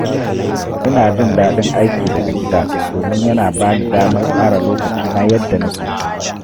Ina jin daɗin aiki daga gida domin yana ba ni damar tsara lokacina yadda nake so.